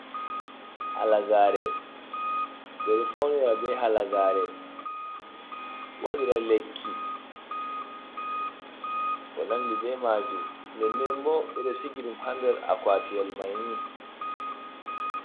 Halagare ɓe ɗo faunira be halagare, waɗira lekki, ko nandi be majum, nden nden bo ɓe ɗo sigiɗum ha nder akwtiyel mai ni.